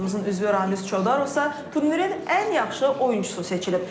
Komandamızın üzvü Ramiz Çodarovsa turnirin ən yaxşı oyunçusu seçilib.